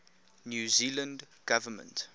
new zealand government